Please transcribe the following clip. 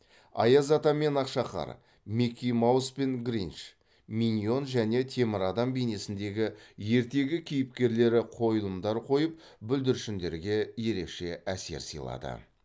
аяз ата мен ақшақар микки маус пен гринч миньон және темір адам бейнесіндегі ертегі кейіпкерлері қойылымдар қойып бүлдіршіндерге ерекше әсер сыйлады